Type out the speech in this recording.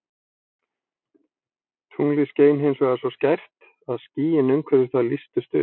Tunglið skein hins vegar svo skært að skýin umhverfis það lýstust upp.